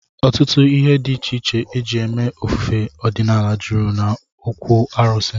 Ọtụtụ ihe dị iche iche e ji eme ofufe ọdịnala jụrụ n'okwu arụsị